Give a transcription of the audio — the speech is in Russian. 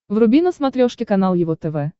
вруби на смотрешке канал его тв